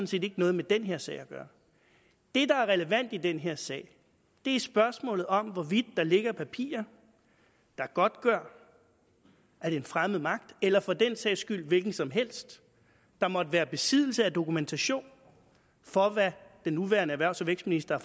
set ikke noget med den her sag at gøre det der er relevant i den her sag er spørgsmålet om hvorvidt der ligger papirer der godtgør at en fremmed magt eller for den sags skyld hvem som helst der måtte være i besiddelse af dokumentation for hvad den nuværende erhvervs og vækstminister